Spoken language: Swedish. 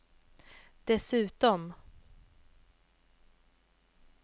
dessutom